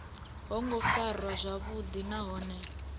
ho ngo farwa zwavhuḓi nahone